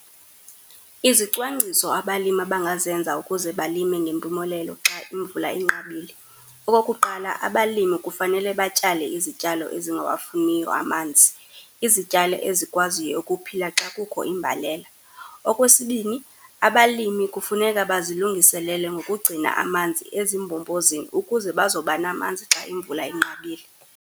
Izicwangciso abalimi abangazenza ukuze balime ngempumelelo xa imvula inqabile, okokuqala abalimi kufanele batyale izityalo ezingawafuniyo amanzi, izityalo ezikwaziyo ukuphila xa kukho imbelela. Okwesibini, abalimi kufuneka bazilungiselele ngokugcina amanzi ezimbombozini ukuze bazawuba namanzi xa imvula inqabile.